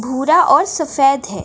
भूरा और सफेद है।